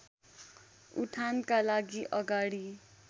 उठानका लागि अगाडि